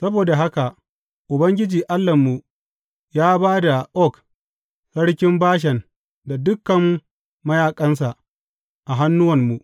Saboda haka Ubangiji Allahnmu ya ba da Og, sarkin Bashan da dukan mayaƙansa a hannuwanmu.